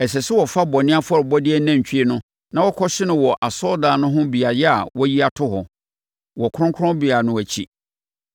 Ɛsɛ sɛ wofa bɔne afɔrebɔdeɛ nantwie no na wokɔhye no wɔ asɔredan no ho beaeɛ a wɔayi ato hɔ, wɔ kronkronbea no akyi.